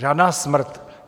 Žádná smrt.